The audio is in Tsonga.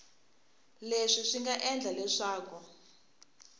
leswi swi nga endla leswaku